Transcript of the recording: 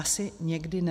Asi někdy ne.